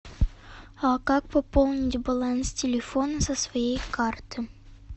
а как пополнить баланс телефона со своей карты